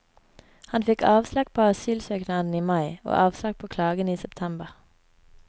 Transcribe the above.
Han fikk avslag på asylsøknaden i mai, og avslag på klagen i september.